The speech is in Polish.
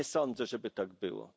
Nie, nie sądzę, żeby tak było.